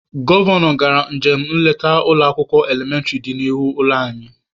Gọvanọ gara njem nleta n'ụlọ akwụkwọ elementịrị dị n'ihu ụlọ anyị.